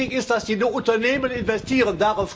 Wichtig ist, dass die Unternehmen investieren.